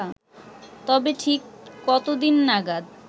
তবে ঠিক কতদিন নাগাদ